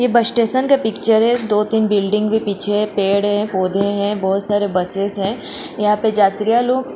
ये bus station का picture है दो-तीन बिल्डिंग भी पीछे है पेड़ है पौधे हैं बहुत सारे बसेस है यहां पे जात्रिया लोग --